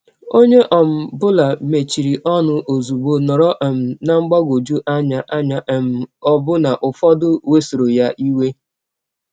Onye ọ um bụla mechiri ọnụ ọzụgbọ, nọrọ um ná mgbagwọjụ anya, anya, um ọbụna ụfọdụ wesọrọ ya iwe.